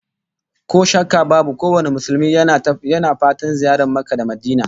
Ko shakka babu kowane Musulmi yana fatan ziyartar Makka da Madinah